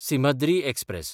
Simhadri express